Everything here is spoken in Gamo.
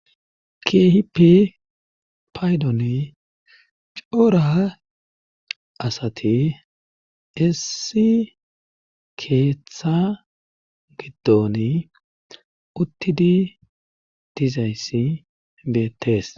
kehipe paydoni coora asati issi keeththa giddoni uttidi dizayssi beettees